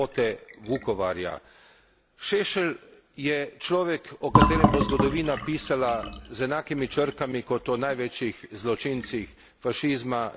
Šešelj je človek, o katerem bo zgodovina pisala z enakimi črkami kot o največjih zločincih fašizma, nacizma in drugih izmov.